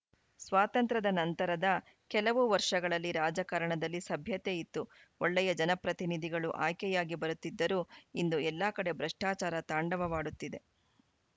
ಸ್ವಾತಂತ್ರದ ನಂತರದ ಕೆಲವು ವರ್ಷಗಳಲ್ಲಿ ರಾಜಕಾರಣದಲ್ಲಿ ಸಭ್ಯತೆ ಇತ್ತು ಒಳ್ಳೆಯ ಜನಪ್ರತಿನಿಧಿಗಳು ಆಯ್ಕೆಯಾಗಿ ಬರುತ್ತಿದ್ದರು ಇಂದು ಎಲ್ಲ ಕಡೆ ಭ್ರಷ್ಟಾಚಾರ ತಾಂಡವವಾಡುತ್ತಿದೆ